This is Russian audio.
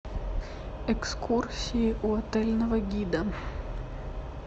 экскурсии у отельного гида